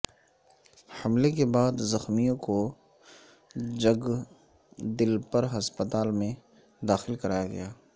حملے کے بعد زخمیوں کو جگدلپر ہسپتال میں داخل کرایا گیا